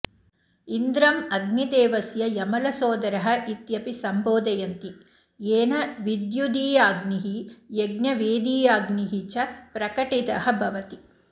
इन्द्रम् अग्निदेवस्य यमलसोदरः इत्यपि सम्बोधयन्ति येन विद्युदीयाग्निः यज्ञवेदीयाग्निः च प्रकटितः भवति